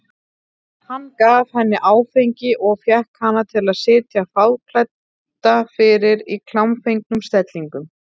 Hann gaf henni áfengi og fékk hana til að sitja fáklædda fyrir í klámfengnum stellingum.